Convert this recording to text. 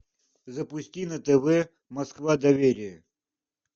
запусти на тв москва доверие